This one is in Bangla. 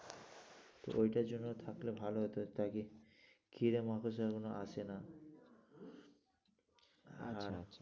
তো ঐটার জন্য থাকলে ভালো হতো, তা কি ঘিরে মাকড়শাগুলো আসে না আচ্ছা আচ্ছা।